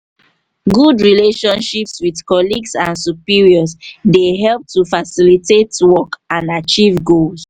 good relationships with colleagues and superiors dey help to facilitate work and achieve goals.